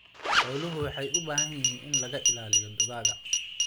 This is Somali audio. Xooluhu waxay u baahan yihiin in laga ilaaliyo dugaagga.